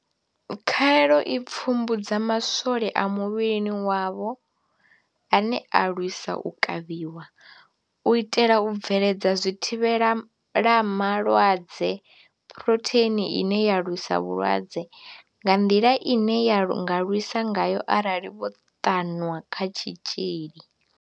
Khaelo i pfumbudza ma swole a muvhili wavho ane a lwisa u kavhiwa, u itela u bveledza zwithivhela malwadze Phurotheini ine ya lwisa vhulwadze, nga nḓila ine ya nga lwisa ngayo arali vho ṱanwa kha tshitzhili.